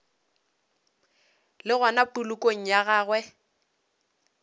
le gona polokong ya gagwe